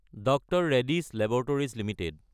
DR Reddy's laboratories Ltd